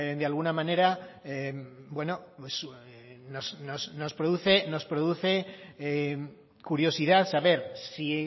de alguna manera bueno nos produce curiosidad saber si